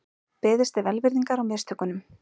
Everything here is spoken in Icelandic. Beðist er velvirðingar á mistökunum